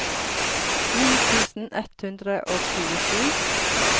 ni tusen ett hundre og tjuesju